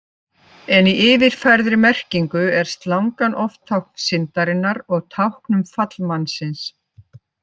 En í yfirfærðri merkingu er slangan oft tákn syndarinnar og tákn um fall mannsins.